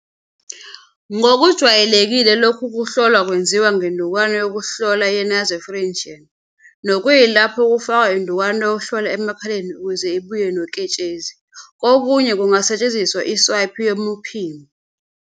Ngokujwayelekile lokhu kuhlola kwenziwa ngendukwana yokuhlola ye-nasopharyngeal, nokuyilapho kufakwa indukwana yokuhlola emakhaleni ukuze ibuye noketshezi, kokunye kungasetshenziswa iswaphi yomphimbo.